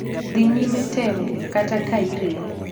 Dhi nyime temo, kata ka irem.